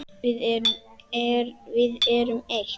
Við erum eitt.